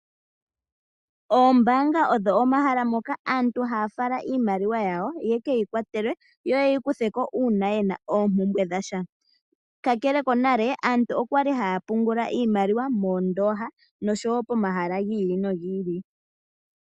Oombaanga odho omahala moka aantu haya fala iimaliwa yawo yekeyi kwatelwe, yo yeyikutheko uuna yena oompumbwe dhasha. Kakele kwaashono, monale aantu okwali haya pungula iimaliwa moondoha, noshowo pomahala gi ili nogi ili.